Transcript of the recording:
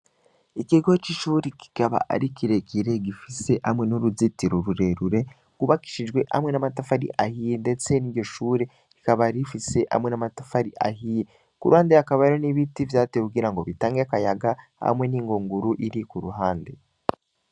Ikigo c'icuri kikaba ari kiregire gifise hamwe n'uruzitiro rurerure gubakishijwe hamwe n'amatafari ahiye, ndetse ni iryo shure kikaba rifise hamwe n'amatafari ahiye ku ruhande yakaba ari n'ibiti vyate kugira ngo bitange akayaga hamwe n'ingonguru iri ku ruhande.